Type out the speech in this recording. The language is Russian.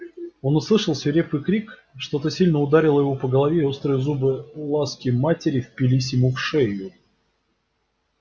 он услышал свирепый крик что то сильно ударило его по голове и острые зубы ласки матери впились ему в шею